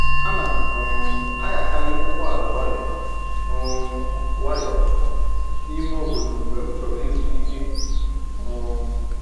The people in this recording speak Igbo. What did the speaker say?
Ana m um anyakarị ụgbọ ala nwayọ um nwayọ n'ime obodo mgbe m chọrọ ịzụ ike um